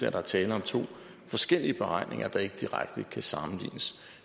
at der er tale om to forskellige beregninger der ikke direkte kan sammenlignes